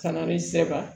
Ka na ni sɛbɛ